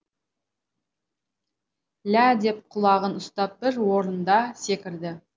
ля деп құлағын ұстап бір орында секірді